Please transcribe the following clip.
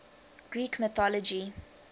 greek mythology